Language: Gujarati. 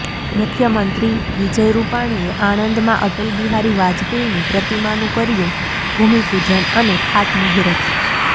મુખ્યમંત્રી વિજય રૂપાણીએ આણંદમાં અટલ બિહારી વાજપેયીની પ્રતિમાનું કર્યું ભૂમિપૂજન અને ખાતમુહૂર્ત